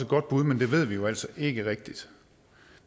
godt bud men det ved vi jo altså ikke rigtig